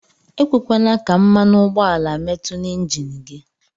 Ekwekwana ka mmanụugbọala mmetu na enjin gi.